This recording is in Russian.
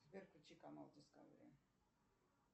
сбер включи канал дискавери